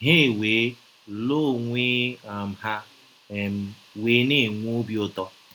“ Ha ewee lụọ onwe um ha, um wee na - enwe ọbi ụtọ. ”